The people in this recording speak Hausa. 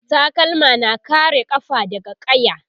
takalma na kare kafa daga ƙaya